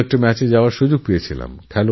আমারও একটা ম্যাচ দেখার সুযোগ হয়েছিল